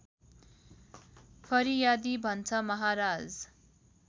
फरियादी भन्छ महाराज